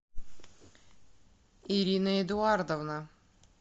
ирина эдуардовна